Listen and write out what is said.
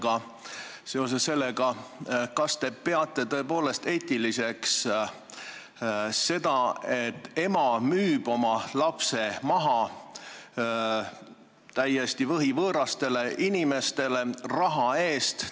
Kas te seoses sellega peate tõepoolest eetiliseks seda, kui ema müüb oma lapse täiesti võhivõõrastele inimestele raha eest maha?